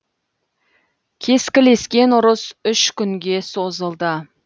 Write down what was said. кескілескен ұрыс үш күнге созылды